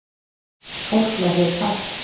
Fólk verður hrætt